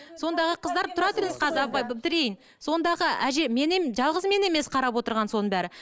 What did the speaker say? сондағы қыздар тұра тұрыңыз қазір апай бітірейін сондағы әже жылғыз мен емес қарап отырған соның бәрі